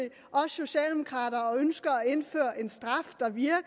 os socialdemokrater og ønsker at indføre en straf der virker